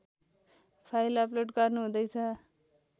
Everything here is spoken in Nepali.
फाइल अपलोड गर्नुहुँदैछ